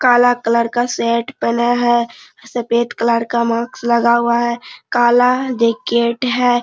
काला कलर का सेट पहने है सफेद कलर का मास्क लगा हुआ हैकाला जैकेट है।